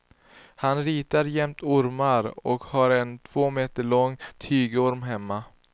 Han ritar jämt ormar och har en två meter lång tygorm hemma.